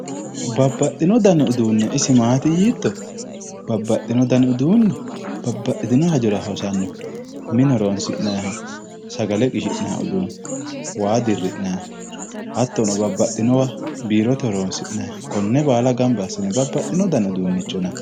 Babbaxino dani uduune isi maati yiitto? Babbaxino dani uduuni babbaxitino hajora hosanno. Mine sagale qishi'nayii uduunne. waa dirri'nayiiha hattono babbaxinowa biirote horonsi'nayiiha konne baala gamba assine babbaxino dni uduunnicho yinayi.